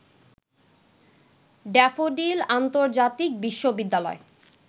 daffodil আন্তর্জাতিক বিশ্ববিদ্যালয়